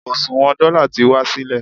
oṣuwọn dọ́là ti wá sílẹ̀